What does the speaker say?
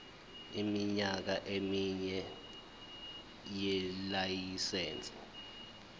iminyaka emine yelayisense